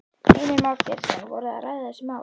Heimir Már Pétursson: Voru þið að ræða þessi mál?